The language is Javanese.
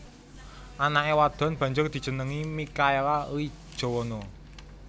Anake wadon banjur dijenengi Mikhaela Lee Jowono